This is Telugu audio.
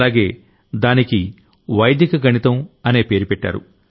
అలాగే దానికి వైదిక గణితం అనే పేరు పెట్టారు